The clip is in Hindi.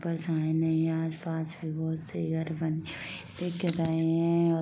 आस-पास --